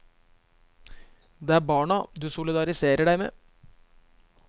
Det er barna du solidariserer deg med?